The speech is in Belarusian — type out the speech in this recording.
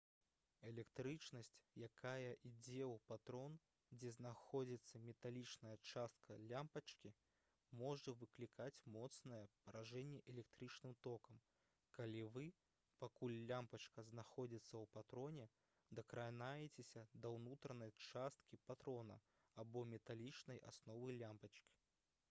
электрычнасць якая ідзе ў патрон дзе знаходзіцца металічная частка лямпачкі можа выклікаць моцнае паражэнне электрычным токам калі вы пакуль лямпачка знаходзіцца ў патроне дакранаецеся да ўнутранай часткі патрона або металічнай асновы лямпачкі